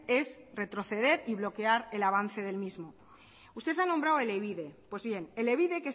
es retroceder y bloquear el avance del mismo usted ha nombrado elebide pues bien elebide